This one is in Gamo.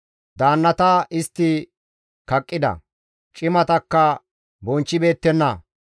Daannata istti kaqqida; cimatakka bonchchibeettenna.